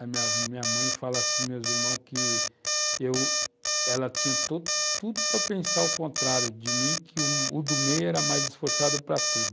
A minha minha mãe fala assim para os meus irmãos que ela tinha tudo para pensar o contrário de mim, que o do meio era mais esforçado para tudo.